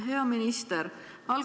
Hea minister!